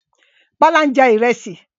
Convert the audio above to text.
Bọ́lá ń jẹ Ìrẹ́sì